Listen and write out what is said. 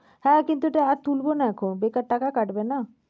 হ্যাঁ কিন্ত টাকা তুলব না এখন বেকার টাকা কাটবে না?